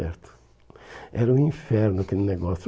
certo. Era um inferno aquele negócio.